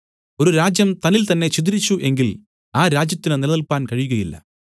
ഒരു രാജ്യം തന്നിൽതന്നേ ഛിദ്രിച്ചു എങ്കിൽ ആ രാജ്യത്തിനു നിലനില്പാൻ കഴിയുകയില്ല